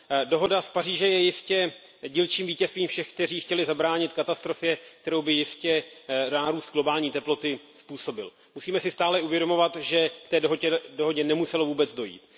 Dohoda z Paříže je jistě dílčím vítězstvím všech, kteří chtěli zabránit katastrofě, kterou by jistě nárůst globální teploty způsobil. Musíme si stále uvědomovat, že k té dohodě nemuselo vůbec dojít.